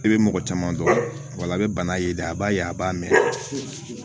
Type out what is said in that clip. I bɛ mɔgɔ caman dɔn wala i bɛ bana ye dɛ a b'a ye a b'a mɛn